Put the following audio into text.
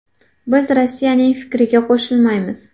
Biz Rossiyaning fikriga qo‘shilmaymiz.